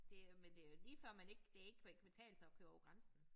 Det jo men det jo lige før man ikke det ikke kan betale sig at køre over grænsen